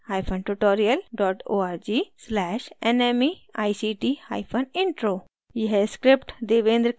spoken hyphen tutorial dot org slash nmeict hyphen intro